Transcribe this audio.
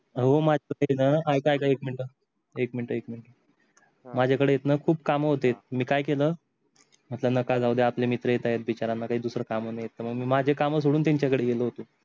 हो माझा आहे न ऐका ऐका एक मिनट एक मिनट एक मिनट माझ्या कडे आहेत खूप काम होते मी काय केल त्यांना का जाऊ द्या आपले मित्र येत आहेत बिचार्यांना काही दुसरा काम नाही मी माझे काम सोडून त्यांच्या कडे गेले होतो